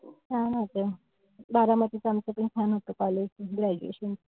छान होते. बारामतीत आमचं पण छान होते college graduation.